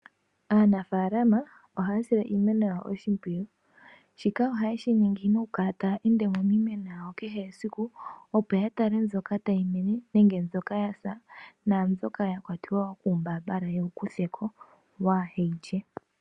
Aanafaalama oha ya sile iimeno ya wo oshimpwiyu. Shika oha ye shiningi no ku kala ta ya ende miimeno yawo ke he siku, opo ya tale mbyoka ta yi mene nenge mbyoka ya sa, nenge mbyoka ya kwata kuumbaambala opo ye wu kutheko.